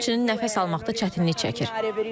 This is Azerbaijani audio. Həmçinin nəfəs almaqda çətinlik çəkir.